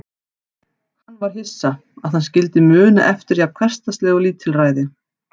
Hann var hissa, að hann skyldi muna eftir jafn hversdagslegu lítilræði.